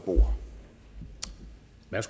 at